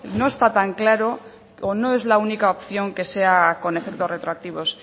no está tan claro o no es la única opción que sea con efectos retroactivos